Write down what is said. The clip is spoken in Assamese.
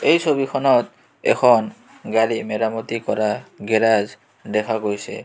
এই ছবিখনত এখন গাড়ী মেৰামতি কৰা গেৰাজ দেখা গৈছে.